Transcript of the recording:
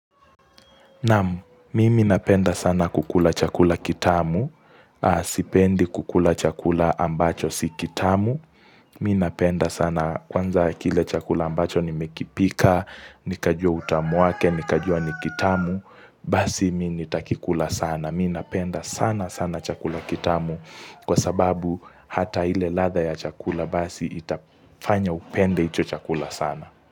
Naam, mimi napenda sana kukula chakula kitamu, sipendi kukula chakula ambacho si kitamu, mimi napenda sana kwanza kile chakula ambacho nimekipika, nikajua utamu wake, nikajua ni kitamu, basi mi nitakikula sana, mi napenda sana sana chakula kitamu kwa sababu hata ile ladha ya chakula basi itafanya upende icho chakula sana.